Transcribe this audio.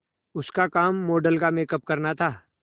उसका काम मॉडल का मेकअप करना था